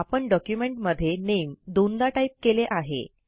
आपण डॉक्युमेंटमध्ये नामे दोनदा टाईप केले आहे